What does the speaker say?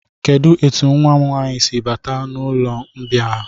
Kedụ etu nwa m nwaanyị si bata n'ụlọmbịa a?